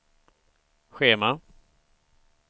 schema